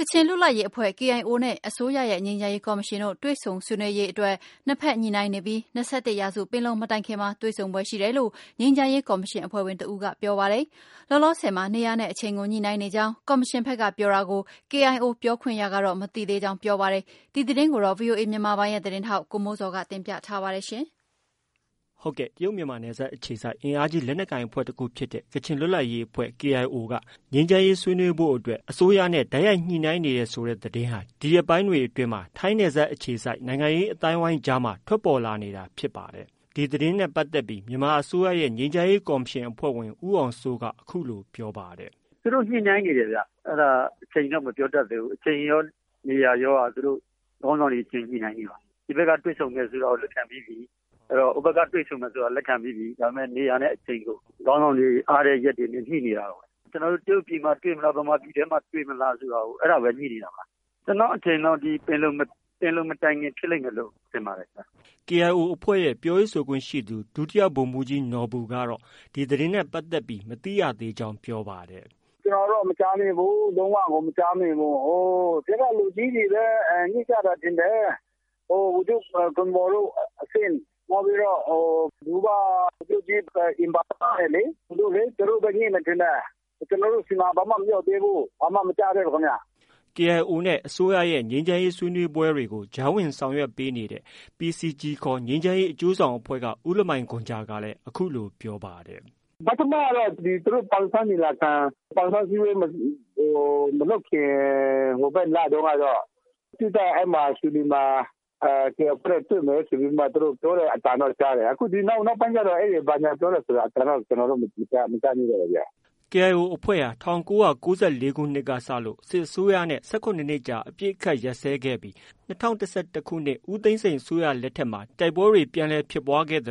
ကချင်လွတ်လပ်ရေးအဖွဲ့ KIO နဲ့ အစိုးရရဲ့ ငြိမ်းချမ်းရေးကော်မရှင်တို့ တွေ့ဆုံဆွေးနွေးရေးအတွက် နှစ်ဖက် ညှိနှိုင်းနေပြီး ၂၁ရာစုပင်လုံမတိုင်ခင်မှာ တွေ့ဆုံဖွယ်ရှိတယ်လို့ ငြိမ်းချမ်းရေး ကော်မရှင်အဖွဲ့ဝင်တဦးက ပြောပါတယ်။ လောလောဆည်မှာ နေရာနဲ့အချိန်ကို ညှိနှိုင်းနေကြောင်း ကော်မရှင်ဘက်ကပြောတာကို KIO ပြောခွင့်ရကတော့ မသိသေးကြောင်း ပြောပါတယ်။ ဒီသတင်း ကို ဗီအိုအေမြန်မာပိုင်းရဲ့သတင်းထောက် ကိုမိုးဇော်က တင်ပြထားပါတယ်။ တရုတ်မြန်မာနယ်စပ်အခြေစိုက်အင်အားကြီးလက်နက်ကိုင်အဖွဲ့တခုဖြစ်တဲ့ ကချင်လွတ်လပ်ရေးအဖွဲ့က ငြိမ်းချမ်းရေးဆွေးနွေးဖို့အတွက် အစိုးရနဲ့ တိုက်ရိုက်ညှိနှိုင်းနေတယ်ဆိုတဲ့သတင်းဟာ ဒီရက်ပိုင်းအတွင်းမှာ ထိုင်းနယ်စပ်အခြေစိုက် နိုင်ငံရေးအသိုင်းအဝိုင်းကြားမှာ ထွက်ပေါ်လာနေတာဖြစ်ပါတယ်။ ဒီသတင်းနဲ့ပတ်သက်ပြီး မြန်မာအစိုးရရဲ့ ငြိမ်းချမ်းရေးကော်မရှင် အဖွဲ့ဝင် ဦးအောင်စိုး အခုလို ပြောဆိုပါတယ်။ “သူတို့ညှိနှိုင်းနေတယ်ခင်ဗျ အဲဒါအချိန်တော့မပြောတတ်သေးဘူး။ အချိန်ရော၊ နေရာရောက ခေါင်းဆောင်တွေအချင်းချင်းညှိနှိုင်းနေပါတယ်။ ဒီဘက်က တွေ့ဆုံမယ်ဆိုတာကို ပြန်ပြီးပြီ ၊ ဟိုဘက်က တွေ့ဆုံမယ်ဆိုတာကိုလက်ခံ ပြီးပြီ ဆိုတော့ နေရာနဲ့အချိန်ကို ခေါင်းဆောင်တွေအားတဲ့ရက်တွေနဲ့ ညှိနေပါတယ်။ ကျနေ်ာတို့ တရုတ်ပြည်ထဲမှာတွေ့မလား မြန်မာပြည်မှာပဲတွေ့မလဲဆိုတာကို ညှိနေတာပါ။ ကျနေ်ာ့အထင်ကတော့ ပင်လံမတိုင်ခင်ဖြစ်လိမ့်မယ်လို့ ထင်ပါတယ်ခင်ဗျ။” KIO အဖွဲ့ရဲ့ ပြောရေးဆိုခွင့်ရှိသူ ဒုဗိုလ်မှုးကြီးနော်ဘူကတော့ ဒီသတင်းနဲ့ပတ်သက်ပြီး မသိရသေးကြောင်း အခုလို ပြောပါတယ်။ “ကျနော်ကတော့ မကြားမိဘူး၊ လုံးဝကို မကြားမိဘူး။ အဓိက လူကြီးတွေ ညှိကြတာထင်တယ်။ ဗိုလ်ချုပ် ဂွန်မော်တို့ အဆင့်၊ နောက်ပြီးတော့ Du kaba ဗိုလ်ချုပ်ကြီး အင်ဘန်လ တို့ သူတို့ပဲ ညှိမယ်ထင်တယ်။ ကျနေ်ာတို့ဆီမှာကတော့ ဘာမှ မရောက်သေးဘူး။ ဘာမှ မကြားသေးဘူးခင်ဗျ ။” KIO နဲ့ အစိုးရ ငြိမ်းချမ်းရေးဆွေးနွေးပွဲတွေကို ကြားဝင်ဆောင်ရွက်ပေးတဲ့ PCG ခေါ် ကချင်ငြိမ်းချမ်းရေးအကျိုးဆောင်အဖွဲ့က ဦးလမိုင်ဂွမ်ဂျာကလည်း အခုလို ပြောပါတယ်။ “ပထမကတော့ သူတို့ ပန်ဆန်းအစည်းအဝေးမလုပ်ခင် စစ်တပ်နဲ့ ရွှေလီမှာတော့ တွေ့မယ်ဆိုပြီးတော့ ပြောတဲ့အသံတော့ကြားတယ်။ အခုနောက်ပိုင်းကြားတော့ ဘာညာပြောတဲ့အသံကတော့ ကျနော်တို့ မကြားမိဘူးခင်ဗျ။” KIO အဖွဲ့ဟာ ၁၉၉၄ခုနှစ်က စစ်အစိုးရနဲ့ ၁၇နှစ်ကြာအပစ်အခတ်ရပ်စဲခဲ့ပြီး ၂၀၁၁ခုနှစ် ဦးသိန်းစိန် အစိုးရလက်ထက်မှာ တိုက်ပွဲတွေ ပြန်ဖြစ်ပြီး အပစ်အခတ်